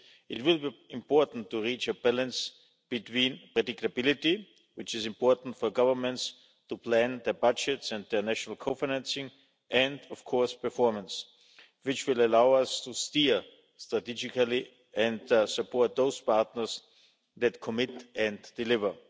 It will be important to reach a balance between predictability, which is important for governments to plan their budgets and their national co financing and, of course, performance, which will allow us to steer strategically and support those partners that commit and deliver.